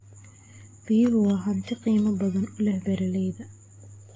Biyuhu waa hanti qiimo badan u leh beeralayda.